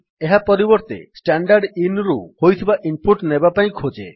ଏହା ପରିବର୍ତ୍ତେ standardinରୁ ହୋଇଥିବା ଇନ୍ ପୁଟ୍ ନେବା ପାଇଁ ଖୋଜେ